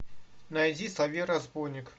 найди соловей разбойник